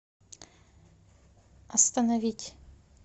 остановить